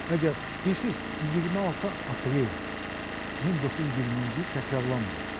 Əgər bilirsiz, 26 aprel 1920-ci il təkrarlanmayacaq.